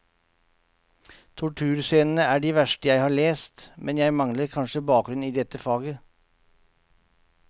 Torturscenene er de verste jeg har lest, men jeg mangler kanskje bakgrunn i dette faget.